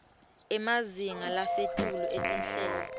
emazinga lasetulu etinhlelo